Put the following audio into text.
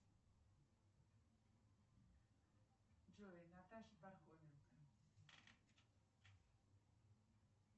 джой наташа пархоменко